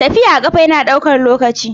Tafiya a ƙafa yana ɗaukar lokaci.